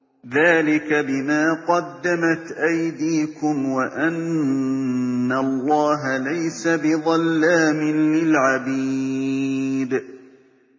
ذَٰلِكَ بِمَا قَدَّمَتْ أَيْدِيكُمْ وَأَنَّ اللَّهَ لَيْسَ بِظَلَّامٍ لِّلْعَبِيدِ